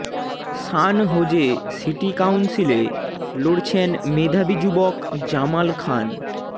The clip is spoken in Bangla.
সান হোযে সিটি কাউন্সিলে লড়ছেন মেধাবি যুবক জামাল খান